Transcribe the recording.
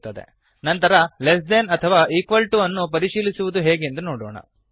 ನಂತರ less than less then ಅಥವಾ equal to equal to ವನ್ನು ಪರಿಶೀಲಿಸುವುದು ಹೇಗೆಂದು ನೋಡೋಣ